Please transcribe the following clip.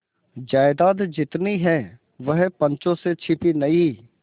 जायदाद जितनी है वह पंचों से छिपी नहीं